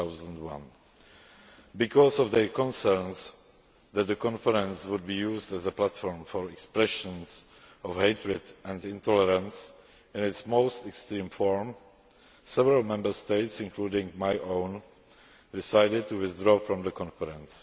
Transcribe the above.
2001. Because of their concerns that the conference would be used as a platform for expressions of hatred and intolerance in its most extreme form, several Member States, including my own, decided to withdraw from the conference.